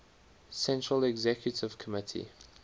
central executive committee